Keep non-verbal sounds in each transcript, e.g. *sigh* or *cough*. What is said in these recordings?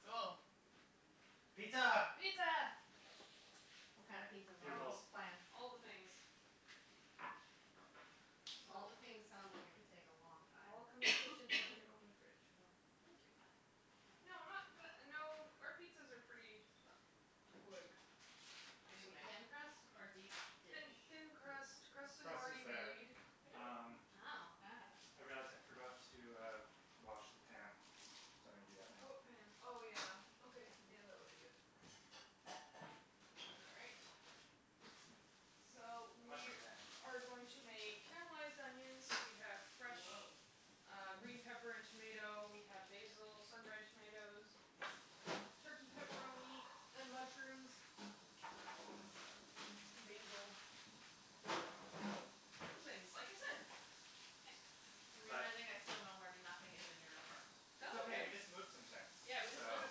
Cool. Pizza. Pizza. What kind of pizza do we want to Oh. Bugles. plan? All the things. All the things sounds like it could take a long All time. come in the kitchen. It's like an open fridge. Mm. Thank you. No, not the no, our pizzas are pretty quick Is it going to to be make. thin crust or deep Thin dish? thin crust. Crust is Crust already is better. made. Uh. Wow. I see. Hey, Jas, I forgot to uh wash the pan, so I'm going to do that now. What pan? Oh, yeah. Okay, yeah, that would be good. All right. So, The we mushroom pan. are going to make caramelized onions. We have fresh Whoah. uh green pepper and tomato. We have basil, sun dried tomatoes. Turkey pepperoni, and mushrooms. And basil. All things, like I said. I'm realizing I still know where nothing is in your apartment. It's That's okay. We okay. just moved some things. Yeah, we just So moved.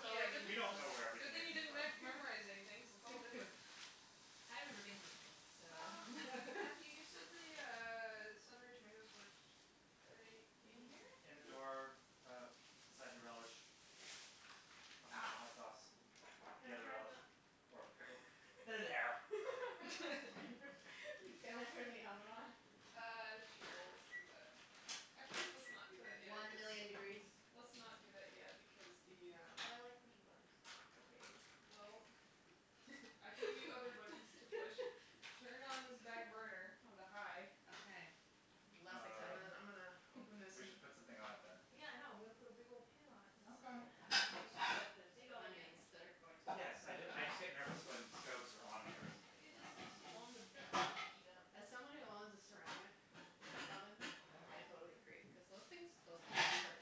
Yeah, did we don't know where we Good everything thing is you in the didn't re- apartment. memorize anything because it's all different. *laughs* I've never been here before, so *laughs* Matthew, you said the uh sun dried tomatoes were he- Are they in here? In the door, uh, beside the relish. Behind the Ah. hot sauce. The Can I other turn relish. the Or pickle. There they are. *laughs* Thank you. *laughs* *laughs* Can I turn the oven on? Uh, sure, let's do that. Actually, let's not do that yet One cuz million degrees. Let's not do that yet because the um But I like pushing buttons. Okay, well, I can give you other buttons to push. *laughs* Turn on this back burner onto high. Okay, less Um exciting. I'm gonna open this we and should put um something on it, then. Yeah, I know. I'm going to put a big old pan on it in Okay. a second. I think she said there's Big old pan. onions that are going to Yes, so I just I just get nervous when stoves are on and there isn't It anything just on takes so long to them. heat up. As someone who owns a ceramic oven, Yeah. I totally agree cuz those things those things can hurt.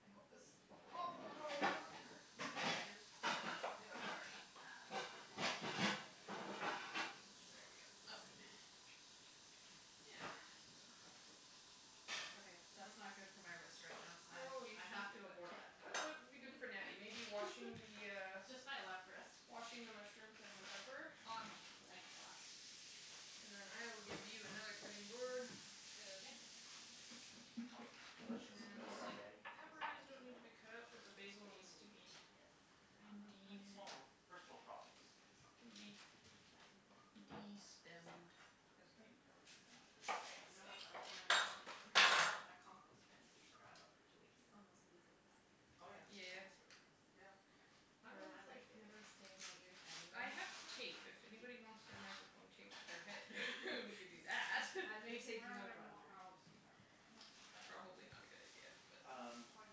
I hope this awful noise doesn't hurt anybody's ears. If it did, I'm sorry. There we go. Okay. Yeah. Okay, that's not good for my wrist right now. I I have to abort that What task. would be good for Natty? Maybe washing the uh Just my left wrist. Washing the mushrooms and the pepper? Awesome, I can wash. And then I will give you another cutting board. Is that okay? Omelettes are delicious, but dried egg is Pepperoni doesn't need *inaudible* to be cut up, but the basil needs to be. Mm, yes, not fun. Funny *inaudible* It's funny small small first world problems. Yes. Can be It's *noise* destemmed. it's like *inaudible* to know this egg You know stuck what's up really annoying to me? *inaudible* That compost bin that you forgot about for two weeks. Oh, yeah. Yeah yeah yeah That's *inaudible* really gross. Yeah. Yeah. That was Headphones my life like the other day. never stay in my ears I anyway. have tape. If anyone wants their microphone taped to their head, *inaudible* we could do that. I'm gonna take Where are you there up on more that. I'll just use that one, just to dry it off. Probably not a good idea but Um Soggy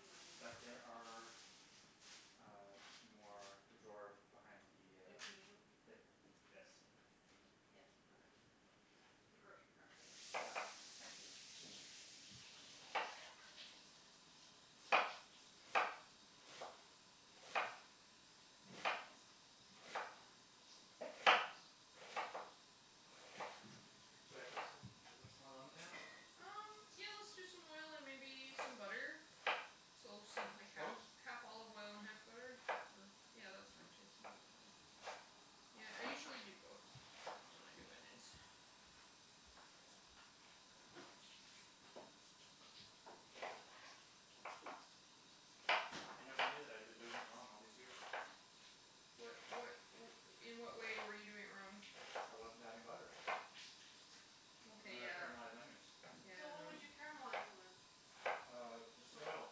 mushrooms but aren't. there are, uh, more in the drawer behind the uh If we need them. The this Yes. Yeah. The grocery cart thingy. Yeah, thank you. Should I put some should I put some more oil on the pan? Um, yeah, let's do some oil and maybe some butter. So something like half Both? half olive oil and half butter. Or yeah that's fine too. *inaudible* Yeah, I usually do both when I do onions. I never knew that I've been doing it wrong all these years. What what *noise* In what way were you doing it wrong? I wasn't adding butter. Okay When I yeah caramelize onions. So what would you Yeah *inaudible* caramelize them in? Um, Just just like oil.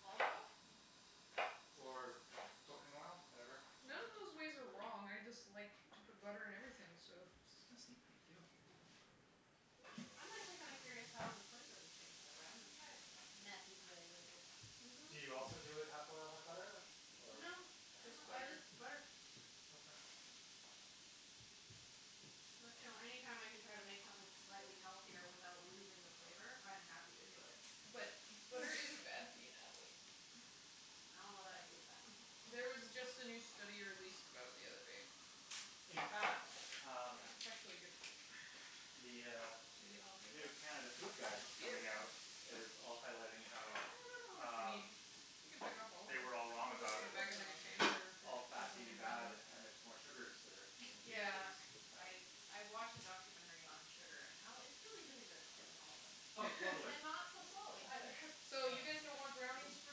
olive oil? Or cooking oil, whatever. Mm. None of those ways are wrong. Mm. I just like to put butter in everything, so I'm just gonna sneak thank you. I'm actually kinda curious how the flavor would change that way. I'm gonna try it. Matthew's way *inaudible* Do you also do it half oil, half butter or? No, no, Just I butter. just butter. Okay. But, you know, any time I can try to make something slightly healthier without losing the flavor, I'm happy to do it. But butter isn't bad for you, Natalie. I don't know that I believe that. There was just a new study released about it the other day. In fact, um, It's actually good for you. the uh new *inaudible* Canada Food Guide coming out is also highlighting I how don't know how much we need. um You can pick off all of they were all I think them. I'm wrong We'll just about put them gonna back in do all the of it. container all or put fat them being bad and it's *inaudible* more sugars that are being Yeah, introduced. I I watched a documentary on sugar and how it's really the thing that's killing all of us. Oh, totally. And not so slowly either. So you guys don't want brownies for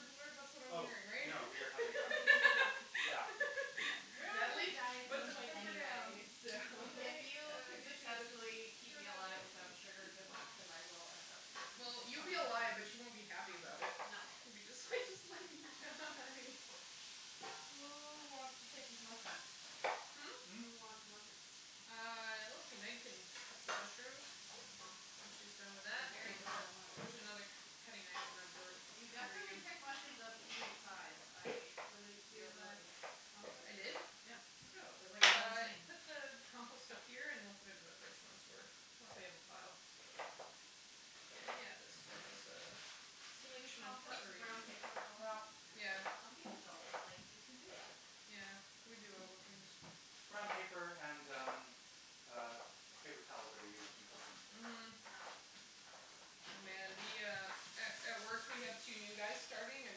dessert? That's what I'm Oh, hearing, right? *laughs* no, we are having brownies. Yeah. We're all going to be on Natalie, a diet at put some the point pepper down. anyway, so. If you I'll could get you successfully keep me alive to *inaudible* without sugar, good luck because I will end up Well, you'll coming be after alive, but you. you won't be happy about it. No. *inaudible* Who wants to take these mushrooms? Hmm? Hmm? Who wants mushrooms? Uh, let's see, Meg can cut some mushrooms. When she's done with They're that. very adorable There's mushrooms. another k- cutting knife in that drawer You under definitely you. pick mushrooms of an even size. I salute your Peanut ability. I did? butter *inaudible* Yeah. Look at them. They're like all the Uh same. put the compost up Oh. here and we'll put it in the fridge once we once we have a pile. Yeah, that's Can you *inaudible* compost the brown paper as Well, well? yeah. *noise* Some people don't. It's like, you can do that. Yeah. We do all the things. Brown paper and, um, paper uh towels that are used in cooking. Mhm. Yeah. Oh, man, the uh A at work we have two new guys starting and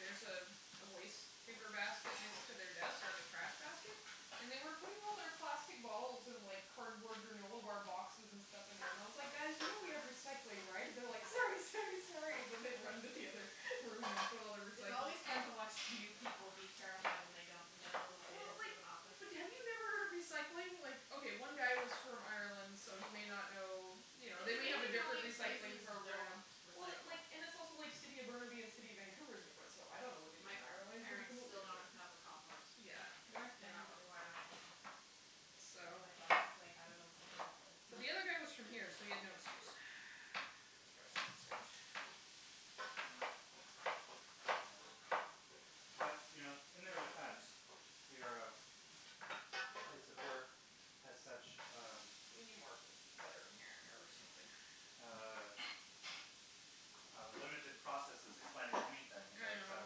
there's a waste paper basket next to their desk, like a trash basket, and they were putting all their plastic bottles and like cardboard granola bar boxes and stuff in there, and I was like, "Guys, you know we have recycling, right?" And they're like, "Sorry, sorry, sorry," and they run into the other room and put all their It's recycling. always fun to watch new people be terrified when they don't know the Well, ways like, of an office. but have you never heard of recycling? Like, okay, one guy was from Ireland, so he may not know, you know, It's they may have a amazing how different many recycling places don't program. Well, recycle. like, and it's also like City of Burnaby and City of Vancouver is different, so I don't know what they do My in Ireland. It could be parents completely still don't different. have a compost. Yeah. They North they are not Van just required. got them. And So my boss is like, "I don't know what to do with this." The other guy was from here, so he had no excuse. *laughs* As far as I am concerned. *noise* Yeah. But, you know, in their defense, your place of work has such, um We need more bu- butter in here or something. Uh uh limited processes explaining anything I that uh know.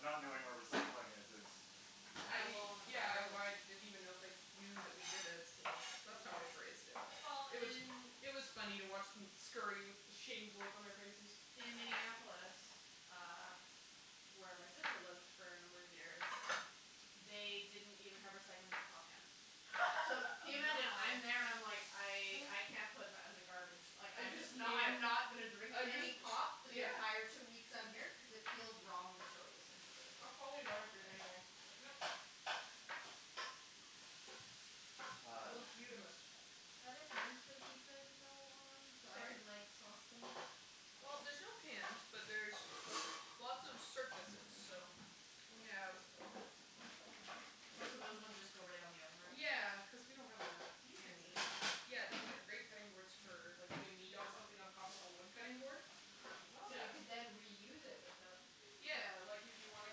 not knowing where recycling is is I Kind of low on the yeah, priority list. I didn't even know if they knew that we did it, so that's that's Mm. how I phrased it. Well, It was in it was funny to watch them scurry with the shamed look on their faces. In Minneapolis, uh, where my sister lived for a number of years, they didn't even have recycling for pop cans. So, can you imagine? I'm there and I'm like, Wow. "I I can't put that in the garbage." Like, I I'm just just knew not it. not gonna drink I any just pop for the yeah. entire two weeks I'm here cuz it feels wrong to throw this into the It's probably better for you like anyway. like yeah That Um. looks beautamis. Are there pans for the pizza to go on so I Sorry? can like sauce them? Well, there's no pans, but there's lots of surface, so We have What, so those ones just go right on the oven rack? Yeah, cuz we don't have enough These are amazing. *inaudible* Yeah, these are great cutting boards for like doing meat on something on top of a wood cutting board. Oh. So you could then reuse it without *inaudible* Yeah, like if you wanted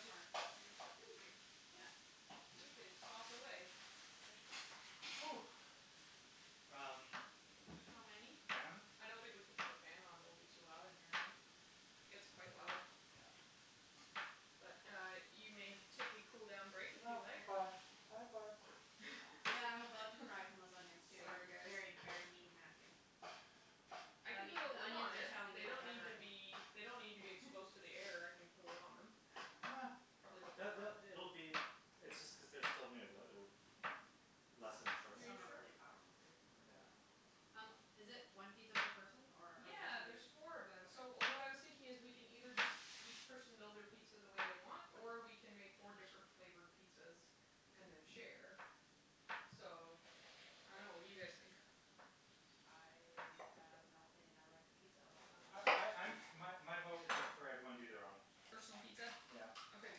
to Thank you. Yeah. You can sauce away. Mm. Oh. *noise* Um How many? Fan? I don't think we can put the fan on. It will be too loud in here, right? It's Okay. quite loud. Yeah. But uh you may take a cool down break if you No, I'm like. fine, I'm fine. Yeah, I'm about to cry from those onions, too. Sorry, You're guys. very, very mean Matthew. I can The put a the lid onions on are it. telling you They that don't they're need to hurting. be They don't need to be exposed to the *laughs* air. I can put a lid on them. Uh Probably *inaudible* It'll *inaudible* be It's just cuz they're still new that it'll lessen Are shortly. you Some are sure? really powerful, too like Yeah. um Um, is it one pizza per person or? Yeah, there's four of them. So what I was thinking is, we can either just each person build their pizza the way they want, or we can make four different flavored pizzas and then share. So, I don't know. What do you guys think? I have no opinion. I like pizza of all kinds. Oh I I'm My my vote would be for everyone to do their own. Personal pizza? Yeah. Okay. Okay.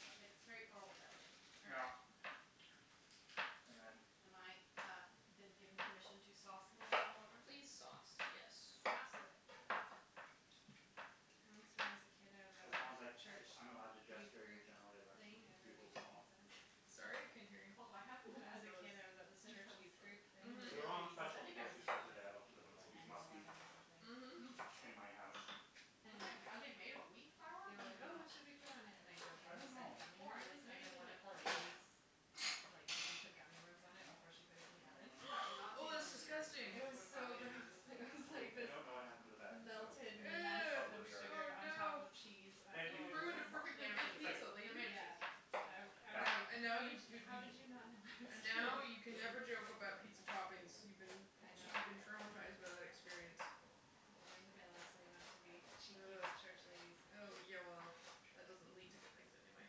Uh It's straightforward that way. Yeah. And then. Am I, uh, been given permission to sauce them all in order? Please sauce, yes. Okay. Sauce away. Once when I was a kid, I was at As long as like church *inaudible* I'm allowed to youth gesture in your group general thing election and we were bugle making call. pizzas. Sorry, I couldn't hear you. Oh, I haven't When I was had a those kid, I was at this since church I was youth like. group thing Mhm. making They're all on pizzas. special I at the think I was grocery store making today. I looked at them and like like they ten or must be eleven or something. Hmm. Mhm. in my house. Mm. Are they made of wheat flour? They were I like, "Oh, dunno. what should we put on it," and I I don't jokingly said know. gummy Corn. It's worms and maybe then tastes one like of the corn. ladies, like, put gummy worms on it before she put it in the oven. I've *noise* *noise* not Oh, seen those that's in years. I disgusting. It just was would've thought so they didn't gross. exist It anymore. was I like I this don't know what happened to the bag, so melted mess Ew. probably of in the garbage. sugar Oh on top no. of cheese. *inaudible* And they You do taste ruined a like corn. They perfectly are made It's good of it's like taste. pizza, They're lady. made of Yeah. tasty. It's all you need I I to Yeah. was like, know. And now "How did you you how did you not know *inaudible* and I was kidding?" now you can never joke about pizza toppings. You've been. I I'm sure know. you've been traumatized by that experience. I learned my lesson not to be cheeky Uh with church ladies. uh yeah, well, that doesn't lead to good things anyway.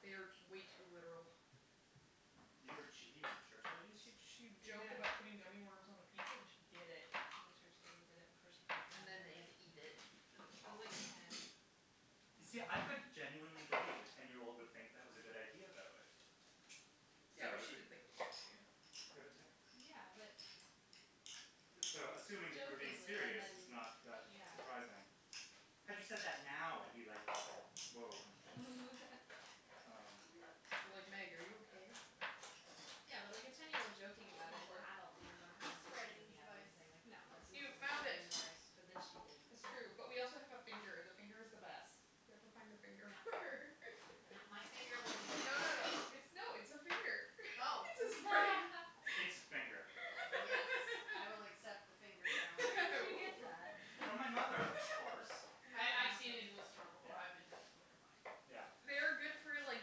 They are way too literal. You were cheeky with church ladies? She che- Yeah. joked about putting gummy worms on a pizza, and she did it. The church lady did it before she put it And in the oven. then we had to eat it. I was like ten. See, I could genuinely believe a ten year old would think that was a good idea, though, eh. So Yeah, I but was she didn't think it was a good idea. *inaudible* Yeah, but. So, assuming that you were being Jokingly and serious is then not that Yeah. surprising. Had you said that now, I'd be like, "Whoah she's" *laughs* Um It'd be like, "Meg, are you okay?" Yeah, but like a ten year old joking What you about looking it and the for? adult being the one A putting pizzas in spreading the oven device. and saying, like, no, Use that's *inaudible* this not You as a found spreading okay. it. device. But then she did That's true. But we also have a finger. And the finger is the best. You have to find a finger. No, no, my finger wasn't. *inaudible* No, no, no. It's no, it's *inaudible* Oh. *laughs* It's a finger. *inaudible* Yes, I will accept the finger *laughs* challenge. Where did you get Ooh. that? From my mother, of course. I I've seen it in the store before. Yeah. I've been tempted *inaudible* Yeah. They are good for, like,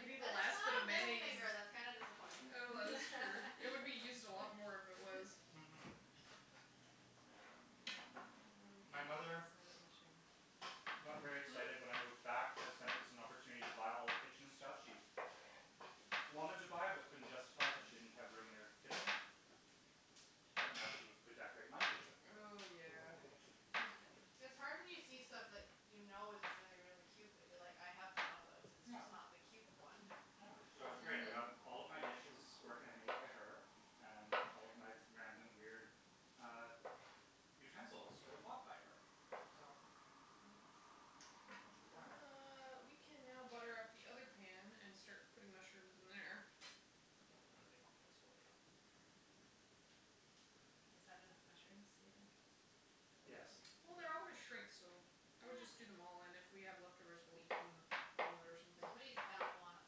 getting the But it's last bit not of a middle mayonnaise. finger. That's kinda disappointing. Oh, that is true. It would be used a lot more if it *laughs* *laughs* was. Mm- hm. What do we *noise* do with My this mother amount of mushroom? got very excited when I Hmm? moved back cuz then it was an opportunity to buy all the kitchen stuff she wanted to buy but couldn't justify it cuz she didn't have room in her kitchen. But now she could decorate my kitchen. Oh, yeah. It's hard when you see stuff that you know is really, really cute but you're like, "I have one of those, it's just not the cute one." Uh, so it was great. I got all of my dishes were hand made by her. And all of my random, weird uh utensils were bought by her. So, Mm- hm. it was good planning. Uh, we can now butter up the pan and start putting mushrooms in there. Oh, my microphone's falling out. Is that enough mushrooms, do you think? Yes. Well, they're all going to shrink, so I would just do them all. And if we have leftovers, we'll eat them on a on bread or something. Somebody is bound to wanna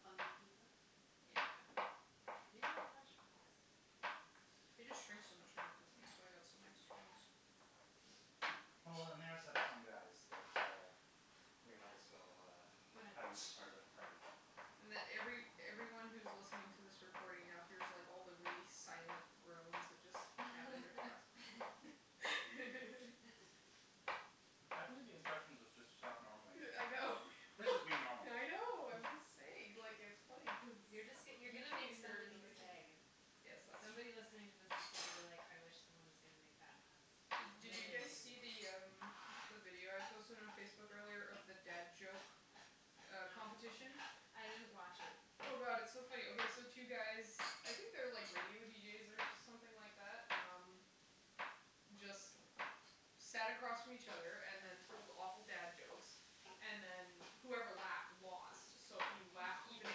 fungi pizza. Yeah. I do like mushrooms. They just shrink so much when they cook. That's *noise* why I've got some extra ones. Well, they are such fun guys that uh we might as well uh But uh have them as part of the party. And every everyone who's listening to this recording now here's like all the really silent groans that just happened. *laughs* *laughs* I believe the instructions was just to talk normally. Yeah I know. This is me normal. I know, I'm just saying. Like, it's funny cuz You're just you're you going to make can't hear it but somebody's they can hear day. it. Yes, that's Somebody true. listening to this is going to be like, "I wish someone is gonna make bad puns," and Did then you they guys see the *inaudible* um the video I posted on Facebook earlier of the dad joke uh No. competition? No. I didn't watch it. Oh, god, it's so funny. Okay, so two guys, I think they're like radio deejays or something like that. Um, just sat across from each other and then told awful dad jokes and then whoever laughed lost. So if you laughed, even at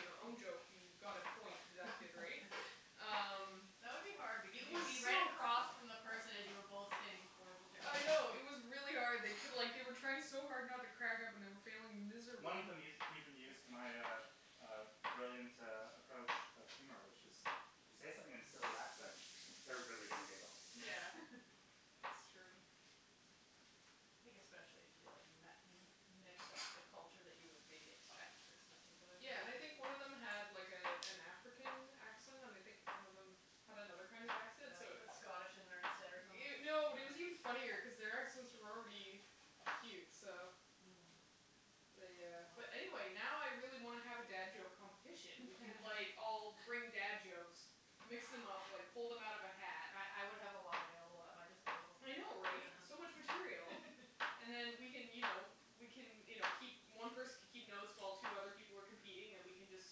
your own joke, you got a point deducted, right? *laughs* Um, That would be hard it because you'd be was right so across *inaudible* from the person as you were both saying horrible jokes. I know, it was really hard. They took like they were trying so hard not to crack up and were failing One of miserably. them us- used even used my uh uh brilliant uh approach of humor, which is If you say something in silly accent, they're really gonna giggle. Yeah, *laughs* it's true. I think especially if you like met mix up the culture that you would maybe expect for this particular thing. Yeah, and I think one of them had like a an African accent, and I think one of them had another kind of accent, Or so like it put Scottish in there instead or something No, it was even *inaudible* funnier cuz their accents were already cute, so Mm. they uh Oh. But anyway, now I really want to have a dad joke competition. We could like all *laughs* bring dad jokes, mix them up, like pull them out of a hat. I I would have a lot available at my disposal. I know, right? Yeah. So much material. *laughs* And then we can, you know, we can, you know, keep One person can keep notes while two other people were competing and we can just,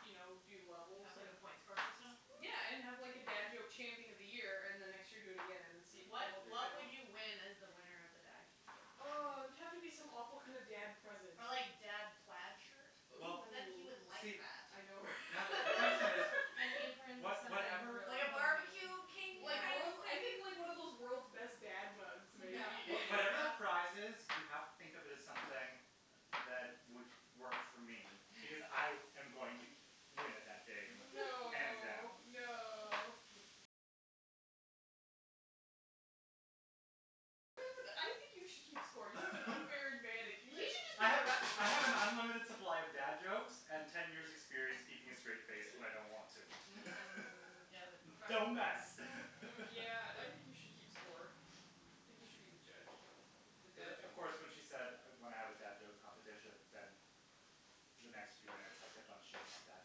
you know, do And levels. have like a point score system? Yeah, and have like a dad joke champion of the year and the next year do again and see if you can What hold your what title. would you win as the winner of the dad joke Oh, champion? it would have to be some awful kinda dad present. Ah, like, dad plaid shirt? Well, But then, he Ooh. would like see. that. I know Natalie, the question is, *laughs* An apron, was something whatever really Like a corny. barbecue king Yeah. kind of I thing? think, like, one of those world's best dad mugs maybe. What- whatever the prize is, you have to think of it as something that would work for me because I am going to win it that day, hands No, down. no. *laughs* You should just I be a have referee. I have an unlimited supply of dad jokes and ten years experience keeping a straight face when I don't want to. *laughs* Mm, yeah, like a Don't professional thing. mess *laughs* Yeah, I think you should keep score. I think you should be the judge of the dad *inaudible* of joke course, when *inaudible* she said when I have a dad joke competition, then the next few minutes I kept on shooting off dad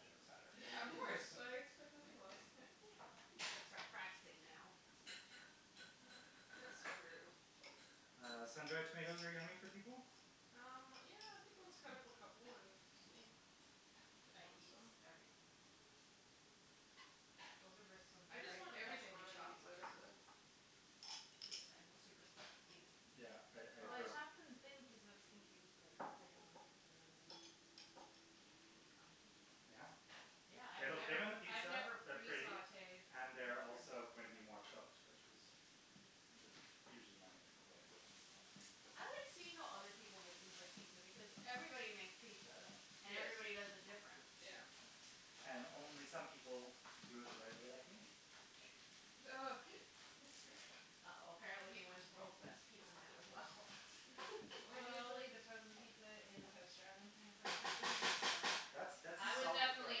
jokes at her. Yeah, of course. I expect nothing less. *laughs* You got to start practicing now. It's true. Uh, sun dried tomatoes are yummy for people? Um, yeah, I think let's cut up a couple and see if they I eat eat them. everything. Those are some I just very want everything professionally on my chopped pizza, so. mushrooms. Super thin, super even. Yeah, I I Well, I agree. Bravo. chopped them thin cuz I was thinking you'd like lay it on the pizza and then they would bake on the pizza. Yeah. Yeah, I've They look good never on the I've pizza, never they're pre pretty sautéed and they're also mushrooms. going to be more cooked, which is usually my main complaint, but I like seeing how other people make things like pizza because everybody makes pizza, and everybody does Yes. it different. Yeah. And only some people do it the right way, like me. Ugh. *laughs* Uh oh, apparently he wins world's best pizza man as well. *laughs* I'm usually the frozen pizza in the toaster oven kind of person. That's that's a I was solid approach. definitely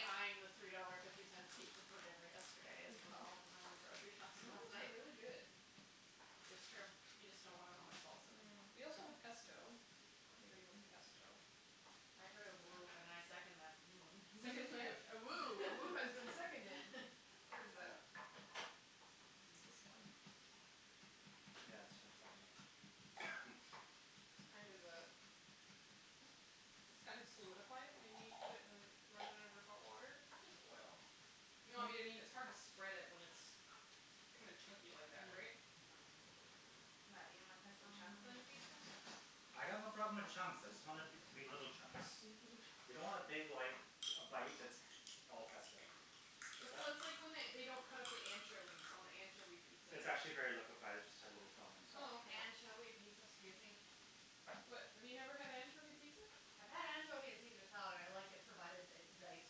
eyeing the three dollar fifty cents pizza for dinner yesterday as well when I went grocery *laughs* shopping Some of last those are night. really good. It's true, you just don't want to know how much salt's in them. Mm. We also have pesto if anybody wants Mmm. pesto. I heard a woo, and I second that woo. A second *laughs* *inaudible* A woo has been seconded. *laughs* Where is that? *noise* This one. *noise* Yeah, let's finish that one up. *noise* It's kind of uh It's kind of solidified. We need put it in run it under hot water. It's just oil. No, I mean it's hard to spread it when it's kinda chunky Ah like that, right? mm What, you don't want yeah pesto chunks on your pizza? mm I got no problem with chunks. I just want it to be little chunks. You *laughs* don't want a big, like, a bite that's all pesto. So It's a that's like when they don't cut up the anchovies on the anchovy pizza. It's actually very liquified. It just had a little film on top. Oh, okay. Anchovy pizza? Excuse me? What, have you never had anchovy pizza? I've had anchovy on Caesar salad. I like it provided it's diced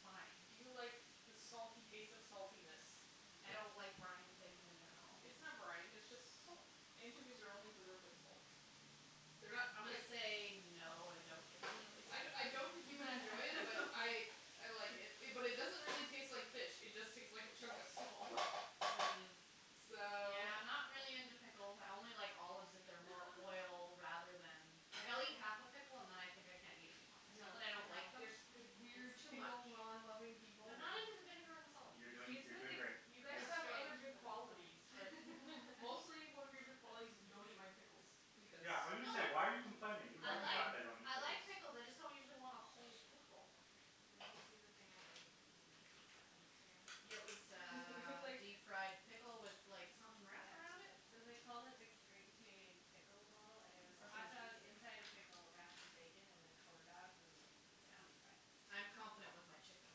fine. Do you like the salty taste of saltiness? I don't like brined things in general. It's not brined, it's just salt. Anchovies are only preserved in salt. They're not I'm gonna say no and don't Mm. I *inaudible* I don't think you would enjoy it, but I *laughs* I like it. But it doesn't really taste like fish, it just tastes like a chunk of salt. Mm, So yeah, I'm not really into pickles. I only like olives if they're more oil rather *noise* than Like, I'll eat half a pickle and then I think I can't eat anymore. I It's know, not that I I don't like them know. The weird It's too much. pickle non loving people. I'm not Mm. into the vinegar and the Yeah salt. You're doing It's a strange you're good thing doing great. you but guys have other I good still qualities, but like it. mostly *laughs* one of your good *laughs* qualities is you don't eat my pickles because No Yeah, I was going to say, "Why are you complaining?" You I like the like fact I don't eat I pickles. like pickles, I just don't usually want a whole pickle. Did you see the thing I ate at the PNE on Instagram? Yeah, it was *laughs* It was uh like deep fried pickle with like something wrapped around it? So they called it a Great Canadian Pickle Ball, and it was a hotdog inside a *inaudible* pickled wrapped in bacon and then corn dogged and like deep fried. Yeah. I'm confident with my chicken and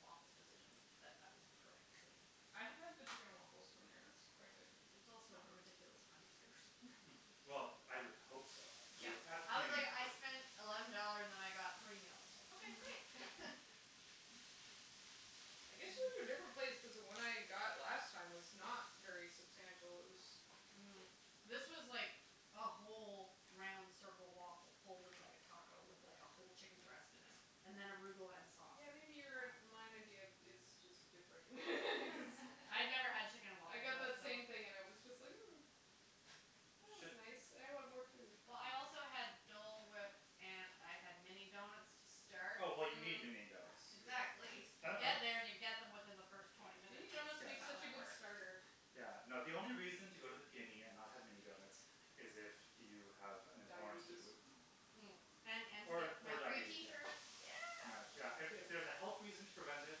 waffles decision, that that was the correct decision. I have had the chicken and waffles from there and it's quite good. It was also a ridiculous amount of food. *laughs* *noise* *laughs* Well, I would hope so Yeah. I was like, "I *inaudible* spent eleven dollars and I got three meals." Okay, great. *laughs* I guess you went to a different place cuz the one I got last time was not very substantial. It was Mm. This was like a whole round circle waffle folded like a taco with, like, a whole chicken breast in it and then arugula and sauce. Yeah, maybe your and my idea is Wow. just different *laughs* *noise* *laughs* I never had chicken and I waffles, got that so. same thing and it was just huh. That was nice. I want more food. Well, I also had *inaudible* Dole whip and I had mini donuts to start. Oh, well you need mini donuts. Exactly. You get there and you *inaudible* get them within the first twenty minutes. Mini donuts Yeah, That's make how such a that good works. starter. yeah, no, the only reason to go to the PNE and not have mini donuts is if you have an intolerance to Diabetes. gluten. Mm. And Or *inaudible* or my free diabetes, tee yeah. shirt. Yeah. Yeah, if it was a health reason to prevent it,